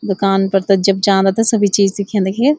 दुकान पर त जब जांदा त सभी चीज दिख्यं देखीय।